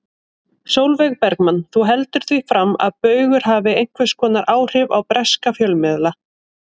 Sólveig Bergmann: Þú heldur því fram að Baugur hafi einhvers konar áhrif á breska fjölmiðla?